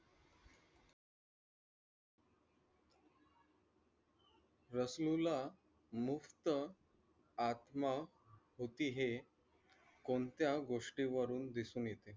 रसलूला मुफ्त आत्मा होती हे कोणत्या गोष्टीवरून दिसून येत?